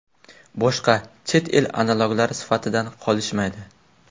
Boshqa chet el analoglar sifatidan qolishmaydi.